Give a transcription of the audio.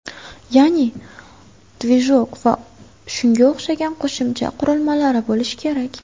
Ya’ni, ‘dvijok’ va shunga o‘xshagan qo‘shimcha qurilmalari bo‘lish kerak.